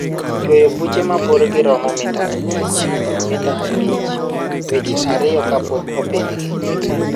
Chwoyo buche ma borgi romo mita abich kod mita abich dweche ariyo kapok opidhgi.